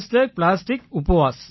பிளாஸ்டிகப்வாஸ்